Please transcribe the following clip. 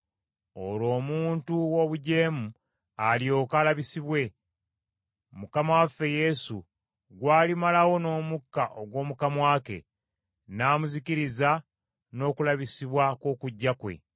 Olwo omuntu ow’obujeemu alyoke alabisibwe, Mukama waffe Yesu gw’alimalawo n’omukka ogw’omu kamwa ke n’amuzikiriza n’okulabisibwa kw’okujja kwe.